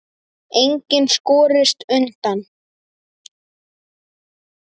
Enginn skorist undan.